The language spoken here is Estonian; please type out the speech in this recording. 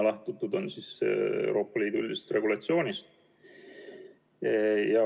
Lähtutud on Euroopa Liidu üldisest regulatsioonist.